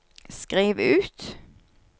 skriv ut